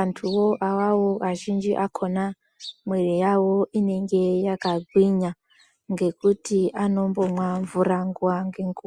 antu wo awawo azhinji akona mwiri yawo inonge yakagwinya nekuti anombomwa mvura nguwa nenguwa.